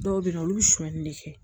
Dɔw bɛ yen nɔ olu bɛ sonyani de kɛ